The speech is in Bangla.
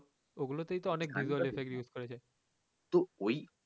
ওগুলো তেই তো অনেক visual effect use করেছে